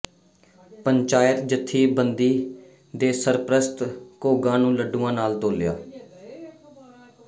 ਪੰਚਾਇਤ ਜਥੇਬੰਦੀ ਦੇ ਸਰਪ੍ਰਸਤ ਘੋਗਾ ਨੂੰ ਲੱਡੂਆਂ ਨਾਲ ਤੋਲਿਆ